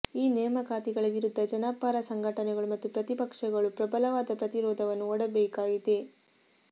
ಈ ನೇಮಕಾತಿಗಳ ವಿರುದ್ಧ ಜನಪರ ಸಂಘಟನೆಗಳು ಮತ್ತು ಪ್ರತಿಪಕ್ಷಗಳು ಪ್ರಬಲವಾದ ಪ್ರತಿರೋಧವನ್ನು ಒಡ್ಡಬೇಕಾಗಿದೆ